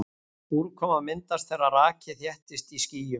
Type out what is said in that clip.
úrkoma myndast þegar raki þéttist í skýjum